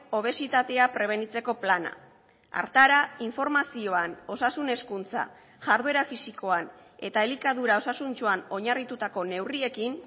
obesitatea prebenitzeko plana hartara informazioan osasun hezkuntza jarduera fisikoan eta elikadura osasuntsuan oinarritutako neurriekin